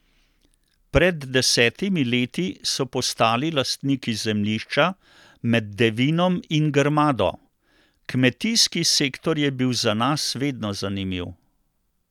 Pred desetimi leti so postali lastniki zemljišča med Devinom in Grmado: "Kmetijski sektor je bil za nas vedno zanimiv.